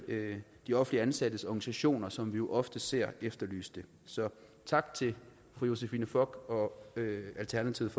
de offentligt ansattes organisationer som vi jo ofte ser efterlyse den så tak til fru josephine fock og alternativet